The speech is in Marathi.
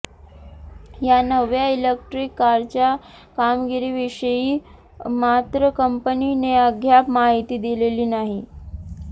या नव्या इलेक्ट्रीक कारच्या कामगिरीविषयी मात्र कंपनीने अद्याप माहिती दिलेली नाही